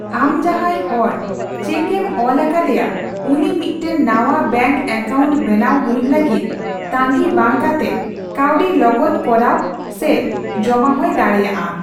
ᱟᱢ ᱡᱟᱦᱟᱸᱭ ᱦᱚᱲ ᱪᱮᱠ ᱮᱢ ᱚᱞ ᱟᱠᱟᱫᱮᱭᱟ ᱩᱱᱤ ᱢᱤᱫᱴᱮᱱ ᱱᱟᱣᱟ ᱵᱮᱝᱠ ᱮᱠᱟᱣᱱᱴ ᱵᱮᱱᱟᱣ ᱦᱩᱭᱩᱜ ᱞᱟᱹᱜᱤᱫ ᱛᱟᱺᱜᱤ ᱵᱟᱝ ᱠᱟᱛᱮ ᱠᱟᱹᱣᱰᱤ ᱞᱚᱜᱚᱫᱽ ᱠᱚᱨᱟᱣ ᱥᱮ ᱡᱚᱢᱟ ᱦᱚᱸᱭ ᱫᱟᱲᱮᱭᱟᱜᱼᱟ ᱾